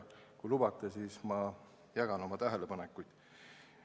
Kui lubate, siis ma jagan oma tähelepanekuid.